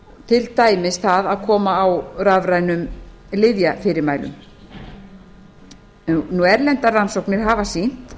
til dæmis það að koma á rafrænum lyfjafyrirmælum erlendar rannsóknir hafa sýnt